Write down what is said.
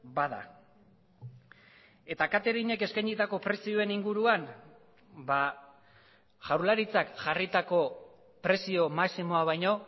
bada eta katering ek eskainitako prezioen inguruan jaurlaritzak jarritako prezio maximoa baino